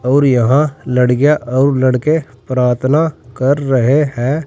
और यहां लड़कियां और लड़के प्रार्थना कर रहे हैं।